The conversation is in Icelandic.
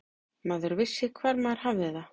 Maður vissi hvar maður hafði það.